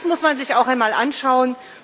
Das muss man sich auch einmal anschauen.